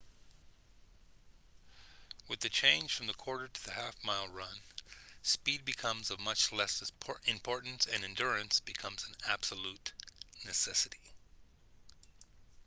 with the change from the quarter to the half mile run speed becomes of much less importance and endurance becomes an absolute necessity